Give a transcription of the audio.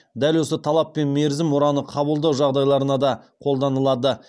дәл осы талап пен мерзім мұраны қабылдау жағдайларына да қолданылады